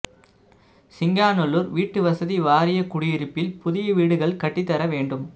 சிங்காநல்லூா் வீட்டு வசதி வாரிய குடியிருப்பில் புதிய வீடுகள் கட்டித் தர வேண்டும்